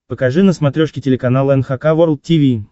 покажи на смотрешке телеканал эн эйч кей волд ти ви